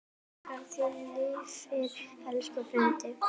Minning þín lifir, elsku Freddi.